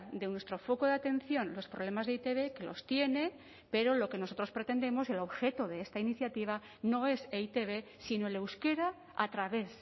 de nuestro foco de atención los problemas de e i te be que los tiene pero lo que nosotros pretendemos el objeto de esta iniciativa no es e i te be sino el euskera a través